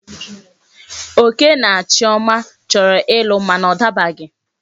Oke na Chioma choro ilu mana o dabaghi